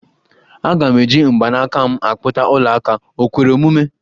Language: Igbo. Aga m eji mgbanaka m akpụta ọla aka, o kwere omume?